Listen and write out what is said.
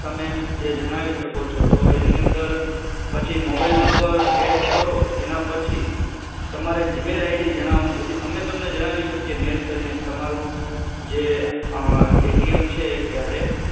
તમે જે જણાવી શકો છો કે એની અંદર પછી mobile mumber એડ કરો એના પછી તમારે gmail ID જણાવાનું જેથી અમે તમે જણાવી શકીએ મેલ કરીને કે તમારું જે એ ટી એમ છે એ ક્યારે